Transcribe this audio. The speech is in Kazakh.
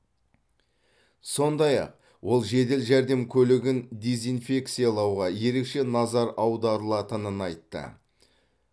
сондай ақ ол жедел жәрдем көлігін дезинфекциялауға ерекше назар аударылатынын айтты